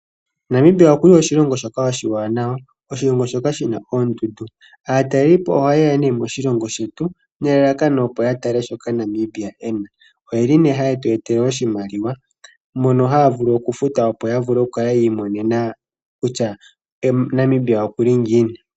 Namibia okuli oshilongo shoka oshiwanawa shoka shi na oondundu. Aatalelipo oha yeya nee moshilongo shetu nelalakano opo ya tale shoka Namibia e na oye li nee haye tu e tele iimaliwa mono haya vulu okufuta yo ya kale yiimonena kutya Namibia okuli ngiini.